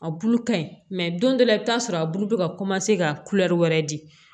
A bulu ka ɲi don dɔ la i bi t'a sɔrɔ a bulu bɛ ka ka wɛrɛ di